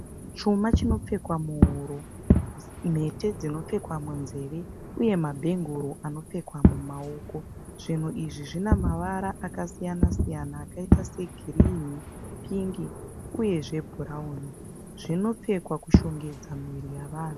Chuma chinopfekwa muhuro. Mhete dzinopfekwa munzeve uye mabhenguru anopfekwa mumaoko. Zvinhu izvi zvine mavara akasiyana-siyana akaita segirinhi, pingi uye zvebhurauni. Zvinopfekwa kushongedza muviri yevanhu.